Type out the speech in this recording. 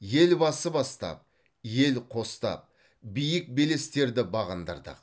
елбасы бастап ел қостап биік белестерді бағындырдық